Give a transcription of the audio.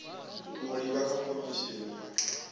u livha kha khomishini ya